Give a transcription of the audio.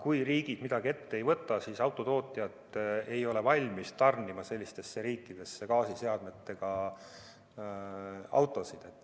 Kui riigid midagi ette ei võta, siis autotootjad ei ole valmis tarnima sellistesse riikidesse gaasiseadmetega autosid.